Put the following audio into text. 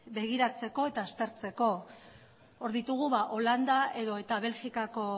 begiratzeko eta aztertzeko hor ditugu holanda edota belgikako